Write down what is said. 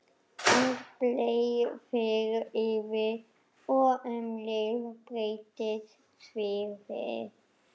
Andblær fer yfir og um leið breytist sviðið.